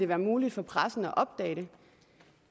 være muligt for pressen at opdage